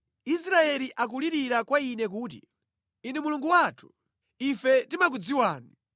Israeli akulirira kwa Ine kuti, ‘Inu Mulungu wathu, ife timakudziwani!’